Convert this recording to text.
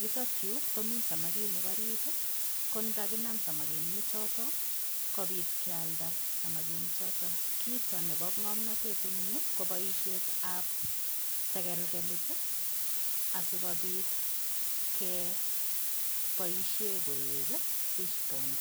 yutok yuu komii samaginik orit ii ngo naginaam samakinik choton kobiit kyalda samaginik choton, kiit nebo ngomntet en yuu ko boisiet ab segelgelit ii asikobiit gee boisien koek ii fish bond